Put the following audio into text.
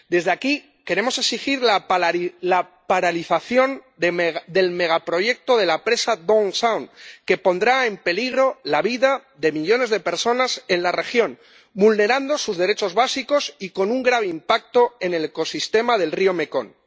Desde aquí queremos exigir la paralización del megaproyecto de la presa Don Sahong, que pondrá en peligro la vida de millones de personas en la región, vulnerará sus derechos básicos y tendrá un grave impacto en el ecosistema del río Mekong.